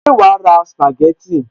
Ṣé wàá ra sìpàgẹ́tì